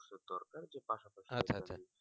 আচ্ছা আচ্ছা